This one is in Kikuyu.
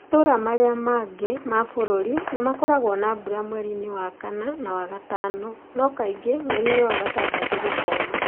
Matũũra marĩa mangĩ ma bũrũri, nĩ makoragwo na mbura mweri-inĩ wa kana na wa gatano, no kaingĩ mweri-inĩ wa gatandatũ gũkoma.